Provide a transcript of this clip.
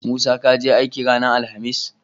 Musa kaje aiki ranar alahamis?